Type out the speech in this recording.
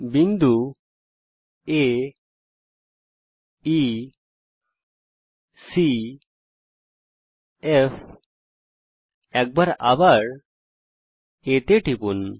বিন্দু আ ই সি F এবং একবার আবার A টিপুন